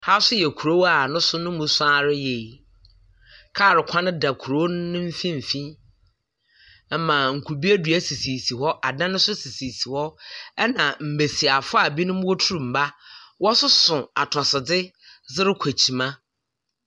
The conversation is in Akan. Ha so yɛ kurow a nemu so ara yie. Kaal kwan da kurow no n'emfinfin. Ɛma nkube dua sisi sisi hɔ, adan nso sisi sisi hɔ. Ɛna mmesiafo a binom wotur mma wɔ soso atosodze dze rekɔ ekyima.